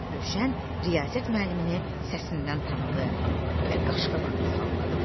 Rövşən Riyaziyyat müəllimini səsindən tanıdı və qaşqabağını salladı.